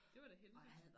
Det var da heldigt